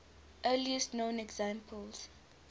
earliest known examples